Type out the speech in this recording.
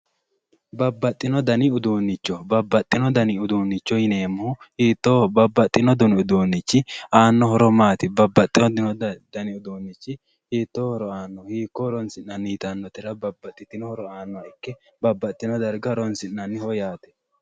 babbaxino dani uduunnicho babbaxino dani uduunnicho yineemmohu hiitoho babbaxino dani uduunnichi aanno horo maati babbaxino dani uduunnichi hiito horo aannohiikko horoonsi'nanni yaannohura babbaxewo horo aano yaate